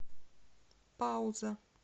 пауза